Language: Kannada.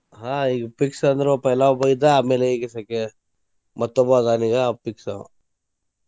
ಆಹ್ ಈಗ fix ಅಂದ್ರ ಒಬ್ಬ पहला ಒಬ್ಬ ಇದ್ದಾ ಆಮೇಲೆ ಈಗ second ಮತ್ತೊಬ್ಬ ಆದಾನ ಈಗಾ ಆಂವ fix ಆಂವ.